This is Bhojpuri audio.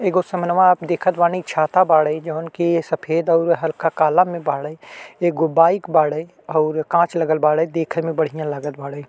एगो समनवा आप देखत बानीं छाता बाड़े जौन कि सफेद और हल्का काला में बाड़े। एगो बाइक बाड़े और कांच लगल बाड़े देखे में बढ़िया लागत बाड़े।